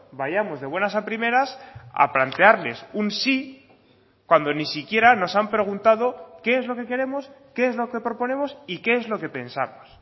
vayamos de buenas a primeras a plantearles un sí cuando ni siquiera nos han preguntado qué es lo que queremos qué es lo que proponemos y qué es lo que pensamos